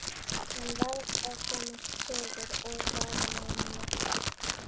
Hann varð að komast suður og vara menn við.